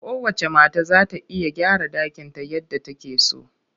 Kowacce mata za ta iya gyara ɗakinta yadda take so